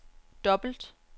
dobbelt